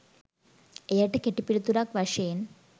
එයට කෙටි පිළිතුරක් වශයෙන්